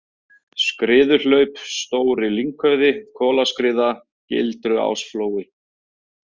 Skriðuhlaup, Stóri-Lynghöfði, Kolaskriða, Gildruásflói